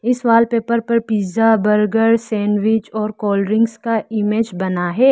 इस वॉलपेपर पर pizza burger sandwich और कोल्ड ड्रिंक का इमेज बना है।